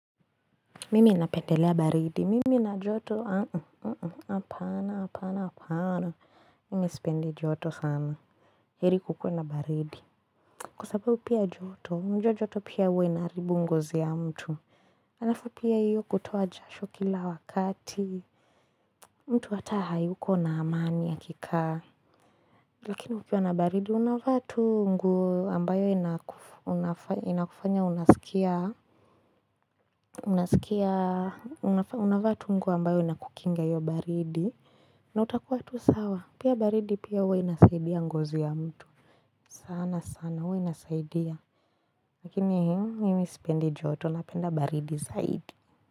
Mimi napendelea baridi, mimi na joto, apana, apana, apana, mimi sipendi joto sana, heri kukue na baridi, kwa sababu ya joto, unajua joto pia huwa inaharibu ngozi ya mtu, alafu pia hiyo kutoa jasho kila wakati mtu hata hayuko na amani akikaa Lakini pia na baridi unavaa tu nguo ambayo inakufanya unaskia unaskia unavaa tu nguo ambayo inakukinga hiyo baridi na utakuwa tu sawa pia baridi pia huwa inasaidia ngozi ya mtu sana sana huwa inasaidia Lakini mimi sipendi joto napenda baridi saidi.